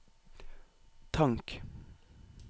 tank